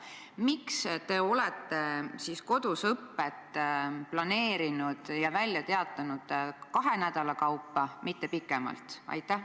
Miks te olete kodusõpet planeerinud ja välja kuulutanud kahe nädala kaupa, mitte pikemalt?